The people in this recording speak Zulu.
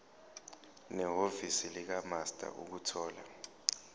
nehhovisi likamaster ukuthola